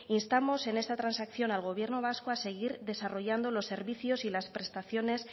instamos en esta transacción al gobierno vasco a seguir desarrollando los servicios y las prestaciones